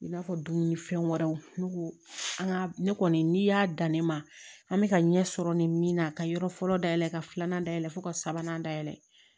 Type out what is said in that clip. I b'a fɔ dumunifɛn wɛrɛw ne ko an ka ne kɔni n'i y'a dan ne ma an bɛ ka ɲɛ sɔrɔ nin min na ka yɔrɔ fɔlɔ dayɛlɛn ka filanan dayɛlɛ fo ka sabanan dayɛlɛ